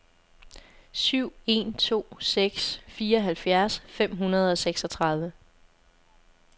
syv en to seks fireoghalvfjerds fem hundrede og seksogtredive